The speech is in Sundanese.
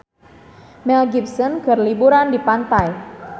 Mel Gibson keur liburan di pantai